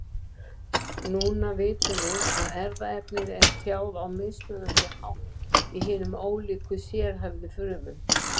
Núna vitum við að erfðaefnið er tjáð á mismunandi hátt í hinum ólíku sérhæfðu frumum.